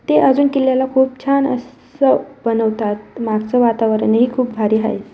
इथे अजून किल्ल्याला खूप छान अस बनवतात मागच वातावरण ही खूप भारी हाय.